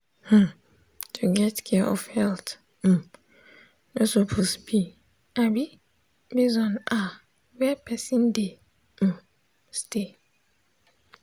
hmm to get care for health um no suppose be um base on ah where person dey um stay.